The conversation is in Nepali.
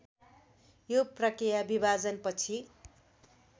यो प्रक्रिया विभाजनपछि